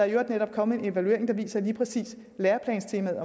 i øvrigt netop kommet en evaluering der viser at lige præcis læreplanstemaet